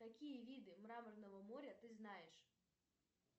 какие виды мраморного моря ты знаешь